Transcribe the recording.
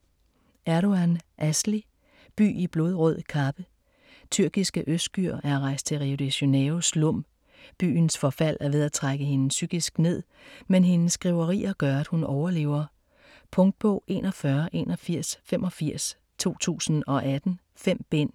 Erdogˇan, Asli: By i blodrød kappe Tyrkiske Özgür er rejst til Rio de Janeiros slum. Byens forfald er ved at trække hende psykisk ned, men hendes skriverier gør at hun overlever. Punktbog 418185 2018. 5 bind.